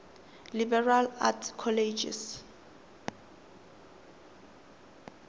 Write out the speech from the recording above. liberal arts colleges